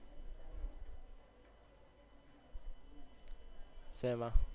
સેમા